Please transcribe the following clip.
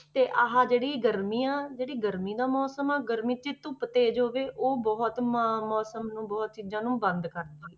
ਤੇ ਆਹ ਜਿਹੜੀ ਗਰਮੀਆਂ ਜਿਹੜੀ ਗਰਮੀ ਦਾ ਮੌਸਮ ਆ ਗਰਮੀ 'ਚ ਧੁੱਪ ਤੇਜ਼ ਹੋਵੇ ਉਹ ਬਹੁਤ ਮਾ~ ਮੌਸਮ ਨੂੰ ਬਹੁਤ ਚੀਜ਼ਾਂ ਨੂੰ ਬੰਦ ਕਰਦੀ ਹੈ।